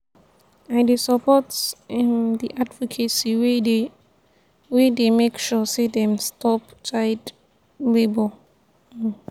i dey support um di advocacy wey dey wey dey make sure sey dem stop child-labour. um